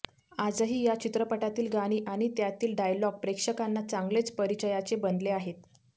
आजही या चित्रपटातील गाणी आणि त्यातील डायलॉग प्रेक्षकांना चांगलेच परिचयाचे बनले आहेत